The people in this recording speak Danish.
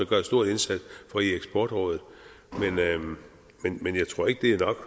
gør en stor indsats for i eksportrådet men jeg tror ikke det er nok